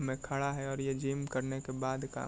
में खड़ा है और ये जिम करने के बाद का --